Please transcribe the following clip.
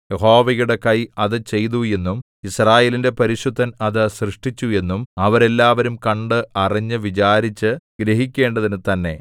യഹോവയുടെ കൈ അത് ചെയ്തു എന്നും യിസ്രായേലിന്റെ പരിശുദ്ധൻ അത് സൃഷ്ടിച്ചു എന്നും അവരെല്ലാവരും കണ്ട് അറിഞ്ഞ് വിചാരിച്ചു ഗ്രഹിക്കേണ്ടതിനു തന്നെ